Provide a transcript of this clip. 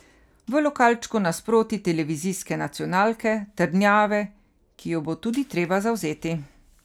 V lokalčku nasproti televizijske nacionalke, trdnjave, ki jo bo tudi treba zavzeti.